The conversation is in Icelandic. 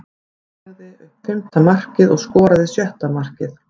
Hann lagði upp fimmta markið og skoraði sjötta markið.